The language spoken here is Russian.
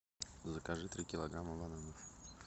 закажи три килограмма бананов